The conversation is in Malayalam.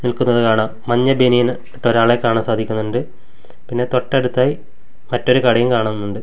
നിൽക്കുന്നത് കാണാം മഞ്ഞ ബനിയനും ഇട്ട ഒരാളെ കാണാൻ സാധിക്കൊന്നോണ്ട് പിന്നെ തൊട്ടടുത്തായി മറ്റൊരു കടയും കാണുന്നുണ്ട്.